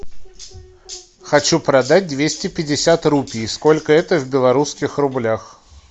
хочу продать двести пятьдесят рупий сколько это в белорусских рублях